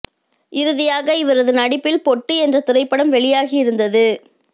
இறுதியாக இவரது நடிப்பில் பொட்டு என்ற திரைப்படம் வெளியாகி இருந்தது